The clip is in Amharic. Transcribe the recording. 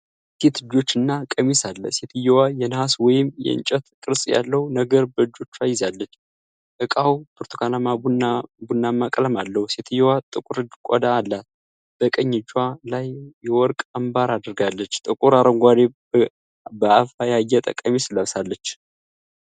የሴት እጆች እና ቀሚስ አለ። ሴትየዋ የነሐስ ወይም የእንጨት ቅርፅ ያለው ነገር በእጆቿ ይዛለች። እቃው ብርቱካንማ ቡናማ ቀለም አለው። ሴትየዋ ጥቁር ቆዳ አላት። በቀኝ እጇ ላይ የወርቅ አምባር አድርጋለች። ጥቁር አረንጓዴ፣ በአበባ ያጌጠ ቀሚስ ለብሳለች